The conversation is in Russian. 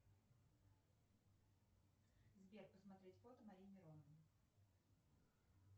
сбер посмотреть фото марии мироновой